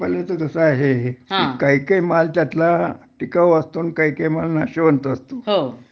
पण इथं तसं आहे हे काही काही माल त्यातला टिकाऊ असतो आणि काही काही माल नाशवंत असतो